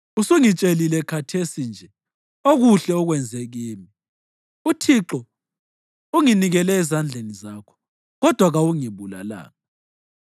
Usungitshelile khathesi nje okuhle okwenze kimi; uThixo unginikele ezandleni zakho, kodwa kawungibulalanga.